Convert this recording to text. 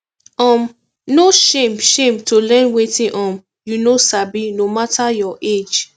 um no shame shame to learn wetin um you no sabi no mata your age